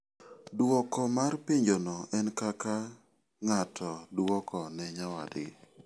Dwoko mar penjono en kaka ng'ato dwoko ne nyawadgi.